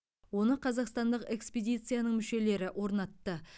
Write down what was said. оны қазақстандық экспедицияның мүшелері орнатты